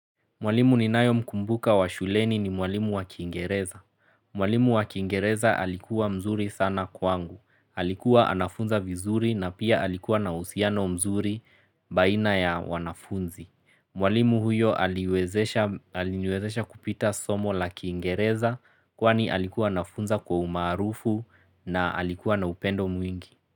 Mwalimu ninayemkumbuka wa shuleni ni mwalimu wa kiingereza. Mwalimu wa kiingereza alikuwa mzuri sana kwangu. Alikuwa anafunza vizuri na pia alikuwa na uhusiano mzuri baina ya wanafunzi. Mwalimu huyo aliniwezesha kupita somo la kiingereza kwani alikuwa anafunza kwa umaarufu na alikuwa na upendo mwingi.